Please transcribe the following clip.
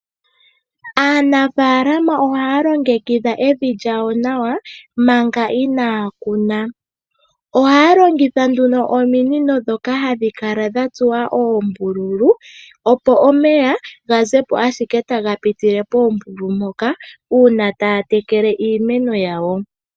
Aanafalam ohaa longekidha evi lyawo Manga inaa kuna ohaa longithwa nduno ominino dhoka hadhi kala dha tsuwa oombululu opo omeya ga zepo owala taga pitile poombululu mpoka uuna taa tekele iimeno yawo.